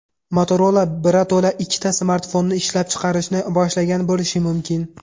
Motorola birato‘la ikkita smartfonni ishlab chiqarishni boshlagan bo‘lishi mumkin.